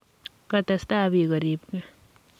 Ngotestai bik koribgei.